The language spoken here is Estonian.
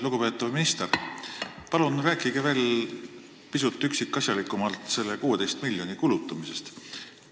Lugupeetav minister, palun rääkige pisut üksikasjalikumalt selle 16 miljoni kulutamisest!